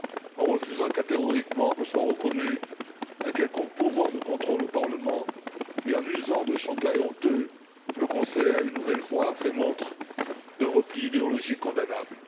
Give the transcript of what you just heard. En refusant catégoriquement que soit reconnu un quelconque pouvoir de contrôle au Parlement et en usant de chantages honteux le Conseil a, une nouvelle fois, fait montre d'un repli idéologique condamnable.